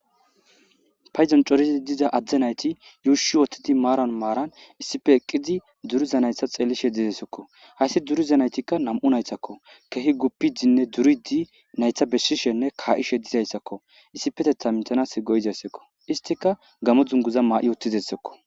payzan corizi diza adde nayti yuushi wottidi maaran maaran issife eqqizi duruza naytha xeeli shedidesekko hayssi duruza naytikka nam7u naytakko kehi guppidinne duridi naytha besshishenne kaa7i shedidayssakko issipetetha mitanas goyizayssakko istika gamo dunguza maa7i wottizessekko